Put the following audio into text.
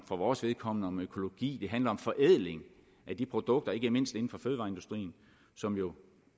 for vores vedkommende om økologi det handler om forædling af de produkter ikke mindst inden for fødevareindustrien som jo